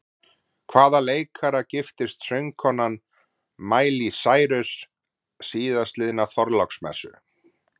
Hvaða leikara giftist söngkonan Miley Cyrus síðastliðna þorláksmessu?